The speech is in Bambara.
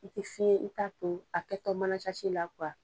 I tɛ se i' ta to, a kɛtɔ mana la